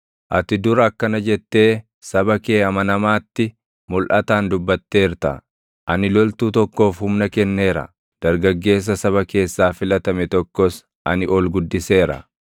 Ati dur akkana jettee saba kee amanamaatti mulʼataan dubbatteerta: “Ani loltuu tokkoof humna kenneera; dargaggeessa saba keessaa filatame tokkos ani ol guddiseera.